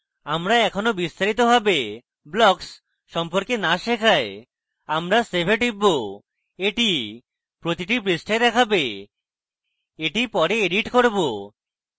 আমরা এখনও বিস্তারিতভাবে blocks সম্পর্কে না শেখায় আমরা save we টিপব এটি প্রতিটি পৃষ্ঠায় দেখাবে এটি পরে edit করব